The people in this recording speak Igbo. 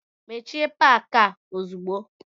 Mechie paki a ozugbo!